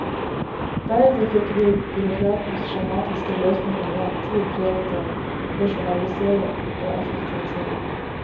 Deretter fikk vi byråkratens skjematiske løsninger i en tid preget av rasjonalisering og effektivisering.